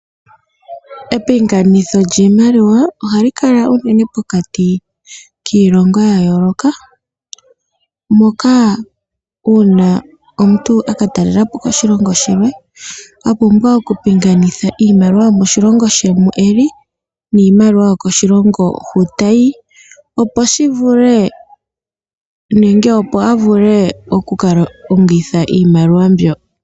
Epinganitho lyiimaliwa ohali kala unene pokati kiilongo ya yooloka moka uuna omuntu a ka talela po oshilongo shilwe a pumbwa okupingakanitha iimaliwa yomoshilongo she mu e li niimaliwa yokoshilongo hu ta yi, opo shi vule nenge opo a vule oku ka longitha iimaliwa mbyo.